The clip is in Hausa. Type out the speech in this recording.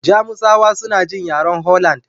Jamusawa suna jin yaren Holland.